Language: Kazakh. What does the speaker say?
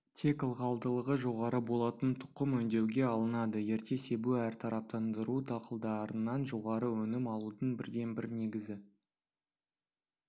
тек ылғалдылығы жоғары болатын тұқым өңдеуге алынады ерте себу әртараптандыру дақылдарынан жоғары өнім алудың бірден-бір негізгі